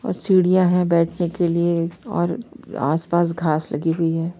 और सीढियां है बैठने के लिए और आस-पास घास लगी हुई है।